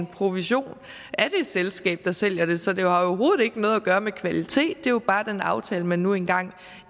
provision af det selskab der sælger det så det har jo overhovedet ikke noget at gøre med kvalitet det er jo bare den aftale man nu engang